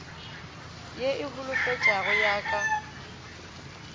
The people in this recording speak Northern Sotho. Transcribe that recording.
ye e holofetšago ya ka